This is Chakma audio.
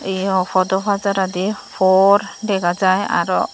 podo pajaradi phor dega jiy aro.